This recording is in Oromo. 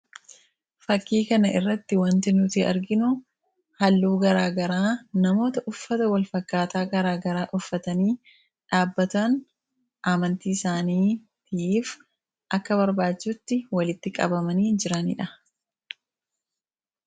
Fakkii kana irratti waanta nuti arginuu haalluu gara garaa namoota uffataa wal fakkataa gara garaa uffatani dhabbataan Amanti isaaniif akka barbachisuutti walitti qabamani jiraanidha.